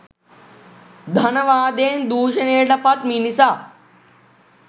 ධනවාදයෙන් දූෂණයට පත් මිනිසා